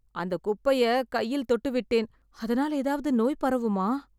அந்த குப்பையை கையில் தொட்டுவிட்டேன் அதனால் ஏதாவது நோய் பரவுமா?